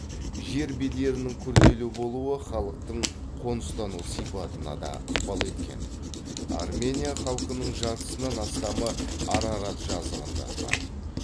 жер бедерінің күрделі болуы халықтың қоныстану сипатына да ықпал еткен армения халқының жартысынан астамы арарат жазығында тұрады